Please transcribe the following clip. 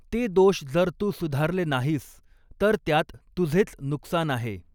ते दोष जर तू सुधारले नाहीस तर त्यात तुझेच नुकसान आहे.